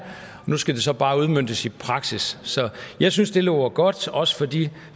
nu skal det så bare udmøntes i praksis så jeg synes det lover godt også for de